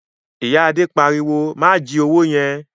Ìyá Adé pariwo "má jí owó yẹn!"